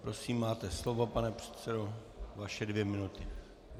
Prosím, máte slovo, pane předsedo, vaše dvě minuty.